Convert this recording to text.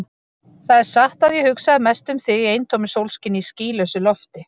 Það er satt að ég hugsaði mest um þig í eintómu sólskini, í skýlausu lofti.